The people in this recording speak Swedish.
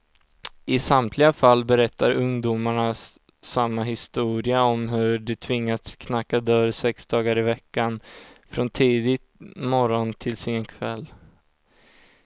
I samtliga fall berättar ungdomarna samma historia om hur de tvingats knacka dörr sex dagar i veckan, från tidig morgon till sen kväll.